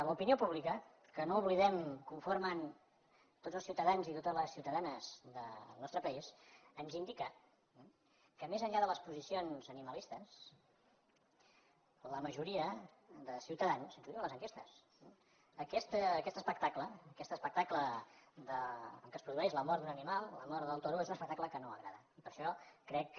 l’opinió pública que no ho oblidem conformen tots els ciutadans i totes les ciutadanes del nostre país ens indica que més enllà de les posicions animalistes a la majoria de ciutadans ho diuen els enquestes aquest espectacle aquest espectacle en què es produeix la mort d’un animal la mort del toro és un espectacle que no agrada per això crec que